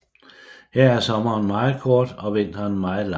Her er sommeren meget kort og vinteren meget lang